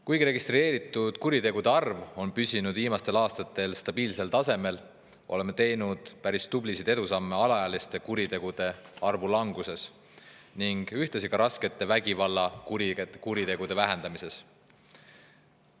Kuigi registreeritud kuritegude arv on püsinud viimastel aastatel stabiilselt tasemel, oleme teinud päris tublisid edusamme alaealiste kuritegude arvu langetamisel ning ühtlasi ka raskete vägivallakuritegude vähendamisel.